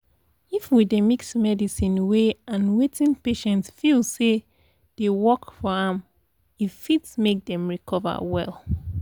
if we dey mix medicine way and wetin patient feel say dey work for am e fit make dem dey recover well.